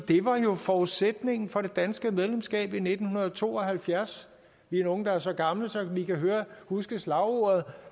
var jo forudsætningen for det danske medlemskab i nitten to og halvfjerds vi er nogle der er så gamle at vi kan huske slagordet